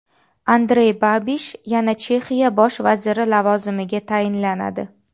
Andrey Babish yana Chexiya bosh vaziri lavozimiga tayinlanadi.